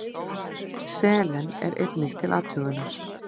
Selen er einnig til athugunar.